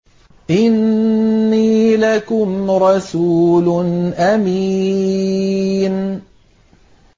إِنِّي لَكُمْ رَسُولٌ أَمِينٌ